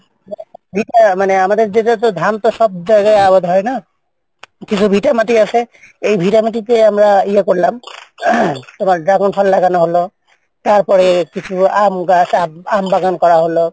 আমাদের যেটা ধান সব জায়গায় আবাদ হয়না? কিছু ভিটা মাটি আছে এই ভিটা মাটিতে ইয়ে করলাম তোমার dragon ফল লাগানো হলো তারপর আম গাছ লাগালাম আম চাষ করা হলো।